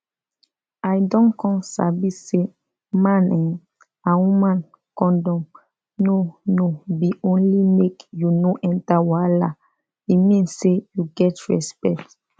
i don come sabi say man[um]and woman condom no no be only make you no enter wahala e mean say you get respect